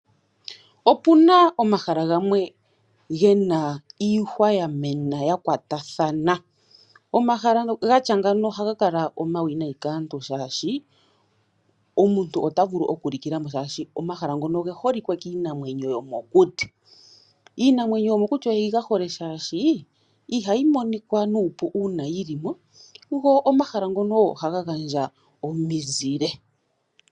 Opena omahala gamwe gena iihwa yamena yakwatathana. Omahala gatya ngawo ohaga kala omawinayi kaantu shaashi omuntu ota vulu okulikila mo. Omahala ngono oge holike kiinamwenyo yomokuti, iinamwenyo yomokuti oyi gahole shaashi ihayi monika nuupu uuna yili mo go omahala ngono ohaga handja omizile